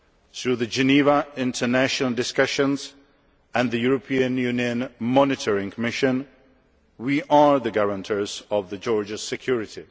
Through the Geneva International Discussions and the European Union Monitoring Mission, we are the guarantors of Georgia's security.